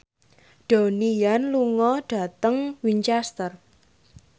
Donnie Yan lunga dhateng Winchester